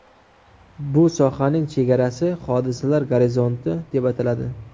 Bu sohaning chegarasi hodisalar gorizonti deb ataladi.